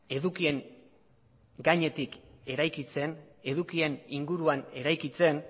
edukien inguruan eraikitzen